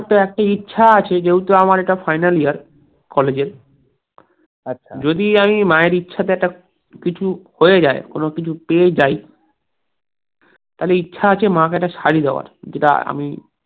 একটা ইচ্ছা আছে, যেহেতু এটা আমার final year কলেজ এর আচ্ছা যদি আমি মায়ের ইচ্ছাতে একটা কিছু হয়ে যায়, কোনো কিছু পেয়ে যাইতা হলে ইচ্ছা আছে মাকে একটা শাড়ী দেওয়ার, যেটা আমি